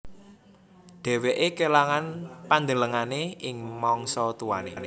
Dheweke kelangan pandelengane ing mangsa tuane